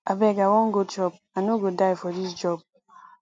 abeg i wan go chop i no go die for dis job